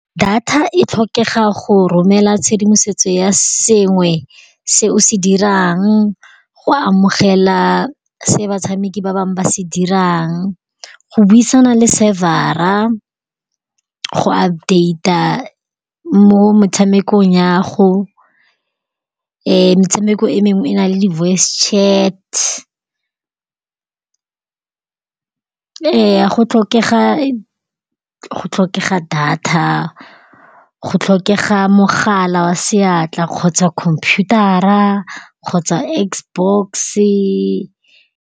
Data e tlhokega go romela tshedimosetso ya sengwe se o se dirang, go amogela se batshameki ba bangwe ba se dirang, go buisana le server-a, go update-a mo motshamekong ya'ago. Metshameko e mengwe e na le di-voice-chat. Ee, go tlhokega data, go tlhokega mogala wa seatla kgotsa computer-a kgotsa Xbox-e.